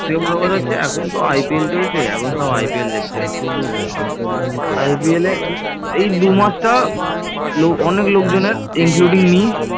সবচেয়ে বড়ো কথা হচ্ছে এখন তো IPL চলছে এখন সব IPL দেখছে IPL এ, এই দুমাস টা অনেক লোকজনের including me